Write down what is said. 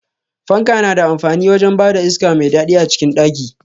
Fanka na da amfani wajen bada iska mai daɗi a cikin ɗaki.